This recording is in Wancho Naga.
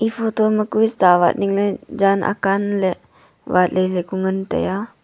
photo ma kua chavat ningley jan akamley vatley ngan tai aa.